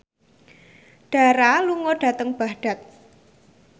Dara lunga dhateng Baghdad